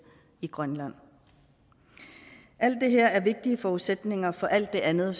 i grønland alt det her er vigtige forudsætninger for alt det andet